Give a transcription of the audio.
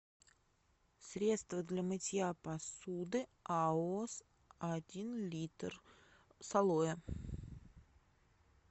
средство для мытья посуды аос один литр с алоэ